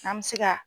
An bɛ se ka